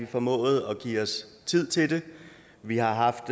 formået at give os tid til det vi har haft